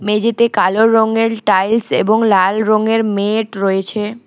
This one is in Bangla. মেঝেতে কালো রঙের টাইলস এবং লাল রঙের মেট রয়েছে।